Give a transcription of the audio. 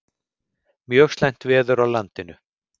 Mjög slæmt veður á landinu